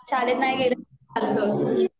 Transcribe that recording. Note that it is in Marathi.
शाळेत नाही गेलं तरी चालायचं